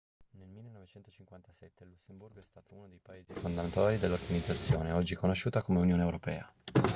nel 1957 il lussemburgo è stato uno dei paesi fondatori dell'organizzazione oggi conosciuta come unione europea